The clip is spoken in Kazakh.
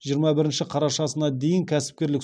жиырма бірінші қарашасына дейін кәсіпкерлік